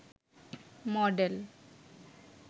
model